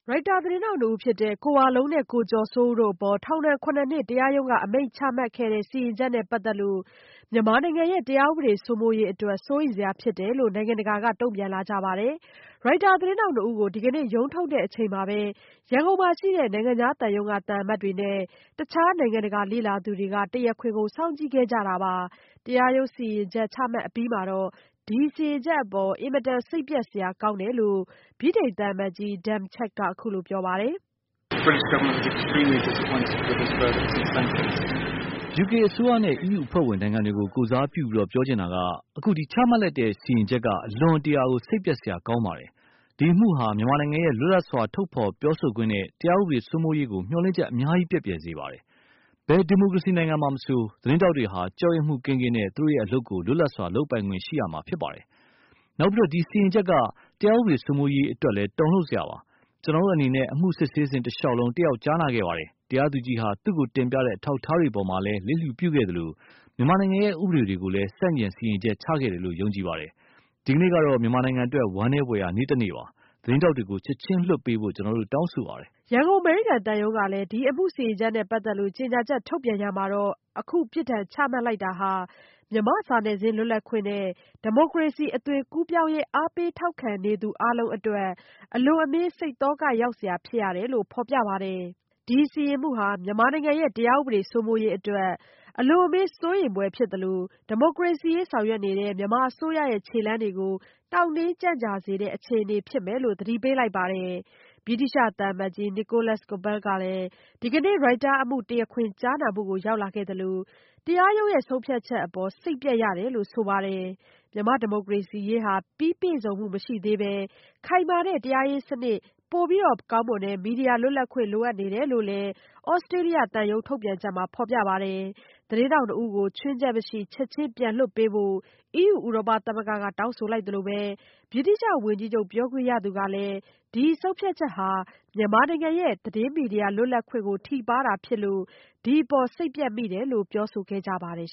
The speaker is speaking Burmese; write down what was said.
ရိုက်တာသတင်းထောက်နှစ်ဦးဖြစ်တဲ့ ကိုဝလုံးနဲ့ ကိုကျော်စိုးဦးတို့အပေါ် ထောင်ဒဏ် ၇ နှစ် တရားရုံးအမိန့် ချမှတ်ခဲ့တဲ့ စီရင်ချက်နဲ့ပတ်သက်လို့ မြန်မာနိုင်ငံရဲ့ တရားဥပဒေစိုးမိုးရေးအတွက် စိုးရိမ်စရာဖြစ်တယ်လို့ နိုင်ငံတကာက တုန့်ပြန်လာကြပါတယ်။ ရိုက်တာသတင်းထောက်နှစ်ဦးကို ဒီကနေ့ ရုံးထုတ်တဲ့အချိန်မှာပဲ ရန်ကုန်မှာရှိတဲ့ နိုင်ငံခြားသံရုံးက သံအမတ်တွေနဲ့ အခြားနိုင်ငံတကာလေ့လာသူတွေက တရားခွင်ကို စောင့်ကြည့်ခဲ့ကြတာပါ။ တရားရုံးစီရင်ချက်ချမှတ်အပြီးမှာတော့ ဒီ စီရင်ချက်အပေါ် အင်မတန် စိတ်ပျက်စရာကောင်းတယ်လို့ ဗြိတိန်သံအမတ်ကြီး Dan Chugg က ပြောပါတယ်။ “ယူကေအစိုးရနဲ့ အီးယူအဖွဲ့ဝင် နိုင်ငံတွေကို ကိုယ်စားပြုပြီး ပြောချင်တာကတော့ အခု ချမှတ်လိုက်တဲ့ စီရင်ချက်က အလွန်အမင်း စိတ်ပျက်စရာ ကောင်းပါတယ်။ ဒီအမှုဟာ မြန်မာနိုင်ငံရဲ့ လွတ်လပ်စွာ ထုတ်ဖော်ပြောဆိုခွင့်နဲ့ တရားဥပဒေ စိုးမိုးရေးကို မျှော်လင့်ချက် အများကြီး ပျက်ပြားစေပါတယ်။ ဘယ်ဒီမိုကရေစီနိုင်ငံမှာမဆို သတင်းထောက်တွေဟာ ကြောက်ရွံ့မှုကင်းကင်းနဲ့ သူတို့အလုပ်ကို လွတ်လပ်စွာလုပ်ပိုင်ခွင့်ရှိရမှာဖြစ်ပါတယ်။ နောက်ပြီး ဒီစီရင်ချက်ဟာ တရားဥပဒေ စိုးမိုးရေးအတွက်လည်း တုန်လုပ်စရာပါပဲ။ ကျွန်တော်တို့အနေနဲ့ အမှုစစ်ဆေးစဉ် တစ်လျှောက် တက်ရောက် ကြားနာခဲ့ပါတယ်။ တရားသူကြီးဟာ သူ့ကိုတင်ပြတဲ့ အထောက်အထားတွေပေါ်မှာလည်း လစ်လျူရှုခဲ့သလို မြန်မာနိုင်ငံရဲ့ ဥပဒေတွေကိုလည်း ဆန့်ကျင် စီရင်ချက် ချခဲ့တယ်လို့ ယုံကြည်ပါတယ်။ ဒီနေ့ကတော့ မြန်မာနိုင်ငံအတွက် ဝမ်းနည်းဖွယ်ရာ နေ့တစ်နေ့ပါပဲ။ သတင်းထောက်တွေကို ချက်ချင်းလွှတ်ပေးဖို့ ကျွန်တော်တို့ တောင်းဆိုပါတယ်။” ရန်ကုန် အမေရိကန်သံရုံးကလည်း ဒီအမှုစီရင်ချက်နဲ့ပတ်သက်လို့ ကြေညာချက်ထုတ်ပြန်ရာမှာ အခု ပြစ်ဒဏ်ချမှတ်လိုက်တာဟာ မြန်မာ့စာနယ်ဇင်းလွတ်လပ်ခွင့်နဲ့ ဒီမိုကရေဏီအသွင်ကူးပြောင်းရေး အားပေးထောက်ခံနေသူအားလုံးအတွက် အလွန်အမင်း စိတ်သောကရောက်စရာ ဖြစ်ရတယ်လို့ ဖော်ပြပါတယ်။ ဒီ စီရင်မှုဟာ မြန်မာနိုင်ငံရဲ့ တရားဥပဒေစိုးမိုးရေးအတွက် အလွန်အမင်းစိုးရိမ်ဖွယ်ဖြစ်သလို၊ ဒီမိုကရေစီရေးဆောင်ရွက်နေတဲ့ မြန်မာအစိုးရခြေလှမ်းတွေကို နှောင့်နှေးကြန့်ကြာစေတဲ့ အခြေနေဖြစ်မယ်လို့ သတိပေးပါတယ်။ သြစတေးသျှသံအမတ်ကြီး Nicholas Coppel ဟာလည်း ဒီကနေ့ ရိုက်တာအမှုတရားခွင်ကြားနာမှုကို ရောက်လာခဲ့သလို၊ တရားရုံးဆုံးဖြတ်ချက်အပေါ် စိတ်ပျက်ရတယ်လို့ ဆိုပါတယ်။ မြန်မာ့ဒီမိုကရေစီရေးဟာ ပြီးပြည့်စုံမှုရှိမနေသေးပဲ ခိုင်မာတဲ့ တရားစီရင်ရေးစနစ် ပိုပြီးကောင်းမွန်တဲ့ မီဒီယာလွတ်လပ်ခွင့်လိုအပ်နေတယ်လို့လည်း သြစတေးသျှသံရုံးထုတ်ပြန်ချက်မှာ ဖော်ပြပါတယ်။ သတင်းထောက်နှစ်ဦးကို ခြွင်းချက်မရှိ ချက်ခြင်းပြန်လွှတ်ပေးဖို့ အီးယူ ဥရောပသမဂ္ဂက တောင်းဆိုလိုက်သလိုပဲ၊ ဗြိတိသျှဝန်ကြီးချုပ် ပြောခွင့်ရသူကလည်း ဒီ ဆုံးဖြတ်ချက်ဟာ မြန်မာနိုင်ငံရဲ့သတင်းမီဒီယာလွတ်လပ်ခွင့်ကို ထိပါးတာဖြစ်လို့ ဒီအပေါ် စိတ်ပျက်မိတယ်လို့ ပြောဆိုခဲ့ကြပါတယ်